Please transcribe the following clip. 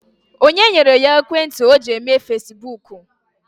Onye nyere ya ekwentị o ji eme fasibuuku?